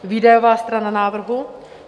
Výdajová strana návrhu.